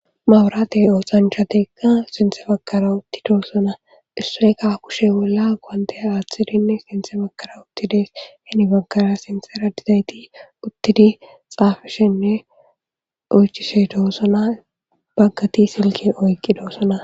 mawuraatey ooxhanchateka sinthe bakara utti doosona issoyka kushe bolla gwandaya aaththidinne sinthe bakara uttides henibankara sinsera didayti uttidi xaafishenne oychishedoossona baggati silke oyqqi doosona